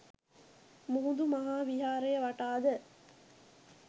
මුහුදු මහා විහාරය වටා ද